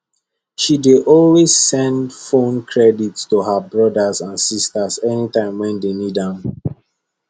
she dey always send phone credit to her brothers and sisters anytime wey dem need am